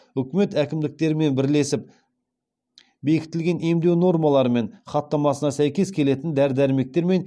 үкімет әкімдерімен бірлесіп бекітілген емдеу нормалары мен хаттамасына сәйкес келетін дәрі дәрмектер мен